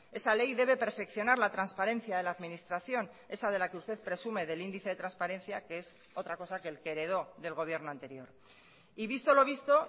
esa ley debe perfeccionar la transparencia de la administración esa de la que usted presume del índice de transparencia que es otra cosa que el que heredó del gobierno anterior y visto lo visto